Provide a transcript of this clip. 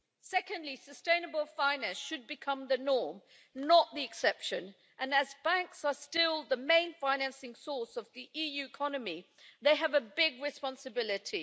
Secondly, sustainable finance should become the norm, not the exception, and as banks are still the main financing source of the EU economy, they have a big responsibility.